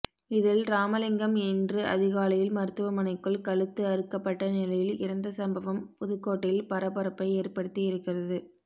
இதில் ராமலிங்கம் இன்று அதிகாலையில் மருத்துவமனைக்குள் கழுத்து அறுக்கப்பட்ட நிலையில் இறந்த சம்பவம் புதுக்கோட்டையில் பரபரப்பை ஏற்படுத்தியிருக்கிறது